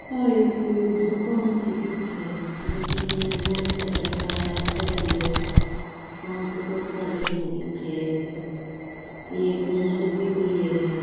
आ एक दुकान सी दिखे है जेकी मे बोला सारे डब्बा पड़ा है र पांच तोता बैठा दिख है र एक कैन डबी पड़ी है र।